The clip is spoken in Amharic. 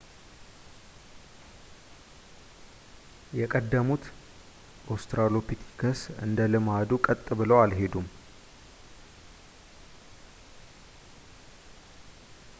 የቀደሙት ኦስትራሎፒተከስ እንደ ልማዱ ቀጥ ብለው አልሄዱም